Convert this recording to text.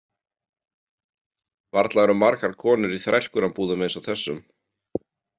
Varla eru margar konur í þrælkunarbúðum eins og þessum